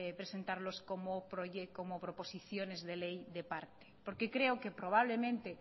presentarlos como proposiciones de ley de parte porque creo que probablemente